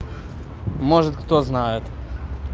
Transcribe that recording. может кто знает